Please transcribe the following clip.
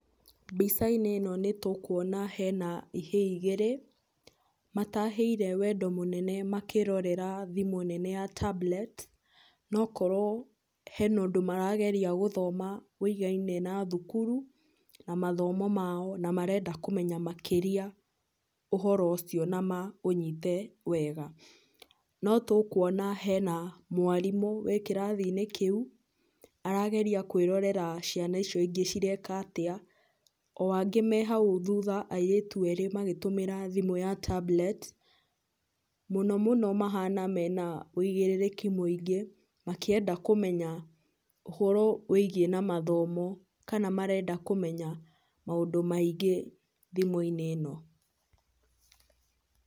Mbica-inĩ ĩno nĩ tũkwona hena ihĩĩ igĩrĩ matahĩire wendo mũnene makĩrorera thimũ nene ya tablet na okorwo hena ũndũ marageria gũthoma wĩgaine na thukuru na mathomo mao na marenda kũmenya makĩria ũhoro ũcio na maũnyite wega. Notũkwona hena mwarimũ wĩ kĩrathi-inĩ kĩu arageria kwĩrorera ciana icio ingĩ cireka atĩa o angĩ me hau thutha airitu angĩ magĩtũmĩra tablet mũno mũno mahana mena wũigĩrĩrĩki mũingĩ makĩenda kũmenya ũhoro wĩgie na mathomo kana marenda kũmenya maũndũ maingĩ thimũ-inĩ ĩno.